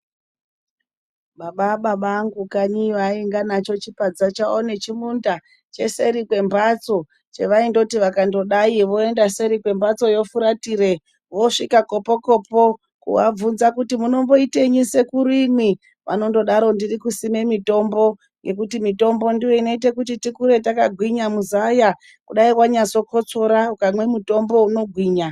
Baba ababangu kanyiyo anganacho chipadza chawo nechinda cheseri kwembatso chevaindoti, vakangodai voenda seri kwembatsoyo, furatire, vosvika kopo kopo, kuvabvunza kuti munomboitenyi sekuru imwi, vanondodaro, ndirikusime mitombo, nekuti mitombo ndiyo inoita kuti tikure takagwinya muzaya, kudai wanyazokosora , ukamwe mutombo unogwinya.